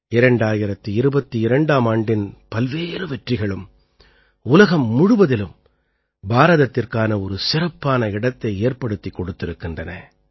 2022ஆம் ஆண்டின் பல்வேறு வெற்றிகளும் உலகம் முழுவதிலும் பாரதத்திற்கான ஒரு சிறப்பான இடத்தை ஏற்படுத்திக் கொடுத்திருக்கின்றன